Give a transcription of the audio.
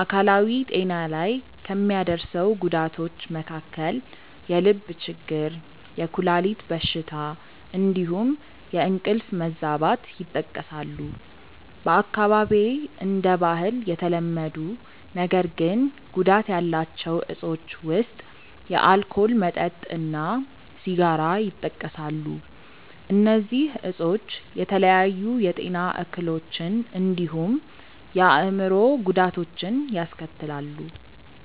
አካላዊ ጤና ላይ ከሚያደርሰው ጉዳቶች መካከል የልብ ችግር፣ የኩላሊት በሽታ እንዲሁም የእንቅልፍ መዛባት ይጠቀሳሉ። በአካባቢዬ እንደ ባህል የተለመዱ ነገር ግን ጉዳት ያላቸው እፆች ውስጥ የአልኮል መጠጥ እና ሲጋራ ይጠቀሳሉ። እነዚህ እፆች የተለያዩ የጤና እክሎችን እንዲሁም የአእምሮ ጉዳቶችን ያስከትላሉ።